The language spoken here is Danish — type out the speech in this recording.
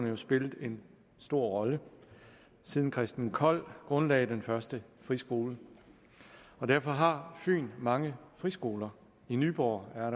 jo spillet en stor rolle siden christen kold grundlagde den første friskole derfor har fyn mange friskoler i nyborg er